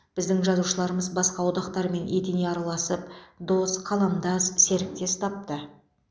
біздің жазушыларымыз басқа одақтармен етене араласып дос қаламдас серіктес тапты